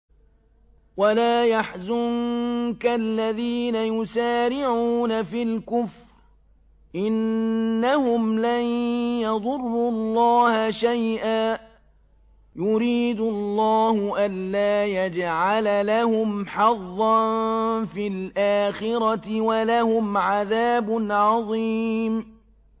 وَلَا يَحْزُنكَ الَّذِينَ يُسَارِعُونَ فِي الْكُفْرِ ۚ إِنَّهُمْ لَن يَضُرُّوا اللَّهَ شَيْئًا ۗ يُرِيدُ اللَّهُ أَلَّا يَجْعَلَ لَهُمْ حَظًّا فِي الْآخِرَةِ ۖ وَلَهُمْ عَذَابٌ عَظِيمٌ